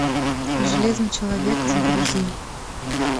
железный человек загрузи